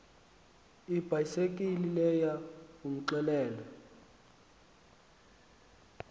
ibhayisekile leyo umxelele